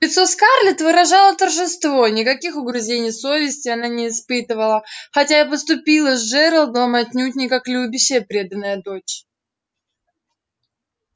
лицо скарлетт выражало торжество никаких угрызений совести она не испытывала хотя и поступила с джералдом отнюдь не как любящая преданная дочь